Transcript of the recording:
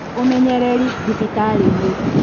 Ũmenyereri thibitarĩ-inĩ